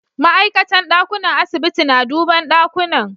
Ma'aikatan dakunan asibiti na duban dakunan.